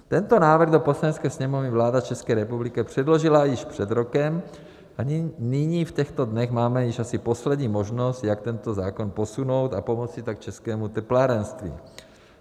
Tento návrh do Poslanecké sněmovny vláda České republiky předložila již před rokem a nyní v těchto dnech máme již asi poslední možnost, jak tento zákon posunout, a pomoci tak českému teplárenství.